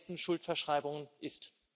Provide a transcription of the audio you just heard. gedeckten Schuldverschreibungen ist.